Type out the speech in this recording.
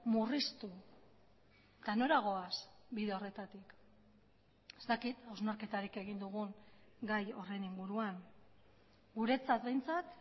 murriztu eta nora goaz bide horretatik ez dakit hausnarketarik egin dugun gai horren inguruan guretzat behintzat